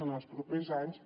en els propers anys